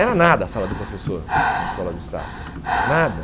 Era nada a sala do professor na Escola do Estado, nada.